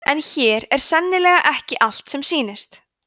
en hér er sannarlega ekki allt sem sýnist